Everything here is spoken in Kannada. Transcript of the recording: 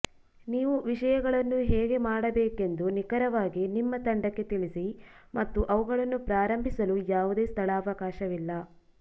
ನೀವು ವಿಷಯಗಳನ್ನು ಹೇಗೆ ಮಾಡಬೇಕೆಂದು ನಿಖರವಾಗಿ ನಿಮ್ಮ ತಂಡಕ್ಕೆ ತಿಳಿಸಿ ಮತ್ತು ಅವುಗಳನ್ನು ಪ್ರಾರಂಭಿಸಲು ಯಾವುದೇ ಸ್ಥಳಾವಕಾಶವಿಲ್ಲ